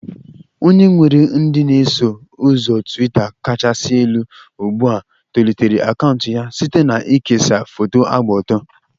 Onye nwere ndị na-eso ụzọ Twitaa kachasị elu ugbu a tolitere akaụntụ ya site na ikesa foto gba ọtọ.